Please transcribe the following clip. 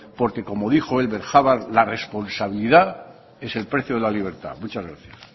porque como dijo elbert hubbard la responsabilidad es el precio de la libertad muchas gracias